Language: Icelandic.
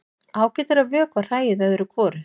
Ágætt er að vökva hræið öðru hvoru.